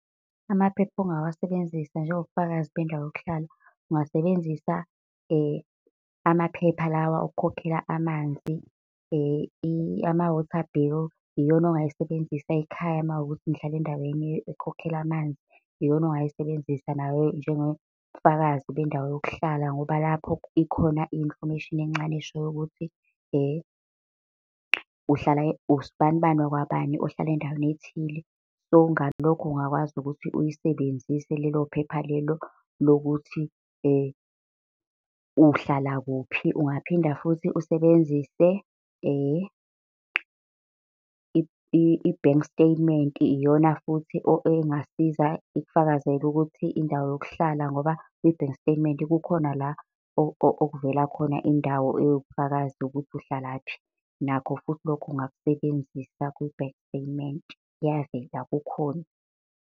Amaphepha ongawasebenzisa njengobufakazi bendawo yokuhlala, ungasebenzisa amaphepha lawa okukhokhela amanzi. Ama-water bill, iyona ongayisebenzisa ekhaya uma kuwukuthi nihlala endaweni ekhokhela amanzi, iyona ongayisebenzisa nayo njengobufakazi bendawo yokuhlala. Ngoba lapho ikhona i-information encane eshoyo ukuthi uhlala usibanibani wakwabani ohlala endaweni ethile. So, ngalokho ungakwazi ukuthi uyisebenzise lelo phepha lelo lokuthi uhlala kuphi. Ungaphinde futhi usebenzise bank statement, iyona futhi engasiza ikufakazele ukuthi indawo yokuhlala ngoba kwi-bank statement kukhona la okuvela khona indawo ewubufakazi yokuthi uhlalaphi. Nakho futhi lokho ungakusebenzisa kwi-bank statement, iyaveza, kukhona